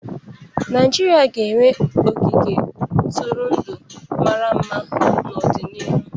Naijiria ga-enwe ogige ntụrụndụ mara mma n'ọdịnihu.